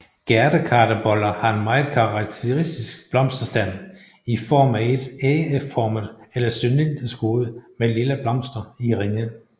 Gærdekartebolle har en meget karakteristisk blomsterstand i form af et ægformet eller cylindrisk hoved med lilla blomster i ringe